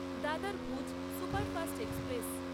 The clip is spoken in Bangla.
দাদার ভুজ সুপারফাস্ট এক্সপ্রেস